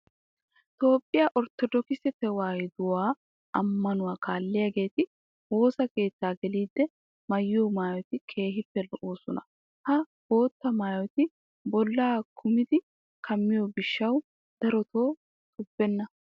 Toophphiya orttodookise tewaahiduwa ammanuwa kaalliyageeti woosa keettaa geliiddi maayiyo maayoti keehippe lo"oosona. Ha bootta maayoti bollaa kunttidi kammiyo gishshawu darota xubbenna.